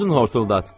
Özün hortuldad.